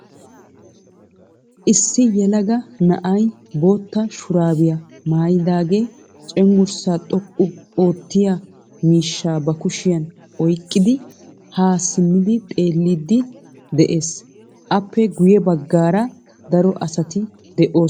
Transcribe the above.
Issi yelaga na"ay bootta shuraabiya maayidaagee cenggurssaa xoqqu oottiyaa miishshaa ba kushiyan oyqqidi haa simmidi xeelliiddi de'ees. Aappe guyye baggaara daro asati de'oosona.